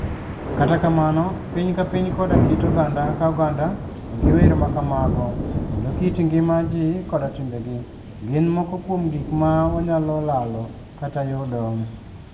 Kata kamano, piny ka piny koda kit oganda ka oganda nigi wer ma kamago, kendo kit ngima ji koda timbegi, gin moko kuom gik ma wanyalo lalo - kata yudo.